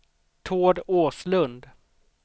Tord Åslund